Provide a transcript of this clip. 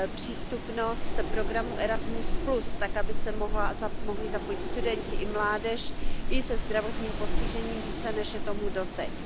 přístupnost programu Erasmus tak, aby se mohli zapojit studenti i mládež i se zdravotním postižením více, než je tomu doteď.